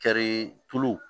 Kari tulu